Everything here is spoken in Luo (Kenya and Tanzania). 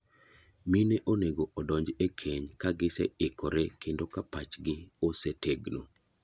Mine onego odonj e keny ka gise ikore kendo ka pach gi ose tegno.